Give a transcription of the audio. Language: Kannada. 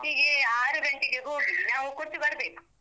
First ಗೆ ಆರು ಗಂಟೆಗೆ ಹೋಗಿ, ನಾವು ಕೊಟ್ಟು ಬರ್ಬೇಕು.